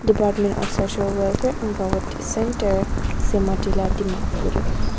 Department of social welfare anganwadi centre सीमतीला दीमापुर।